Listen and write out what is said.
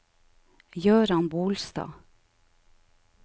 Gøran Bolstad